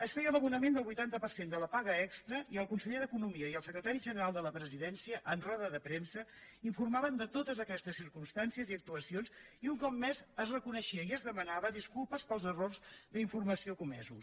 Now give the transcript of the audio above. es feia l’abonament del vuitanta per cent de la paga extra i el conseller d’economia i el secretari general de la presidència en roda de premsa informaven de totes aquestes circumstàncies i actuacions i un cop més es reconeixia i es demanaven disculpes pels errors d’informació comesos